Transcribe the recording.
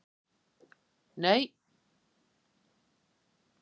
Ekkert, nei, örugglega ekkert.